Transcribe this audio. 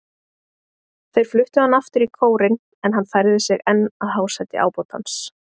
Þeir fluttu hann aftur í kórinn, en hann færði sig enn að hásæti ábótans.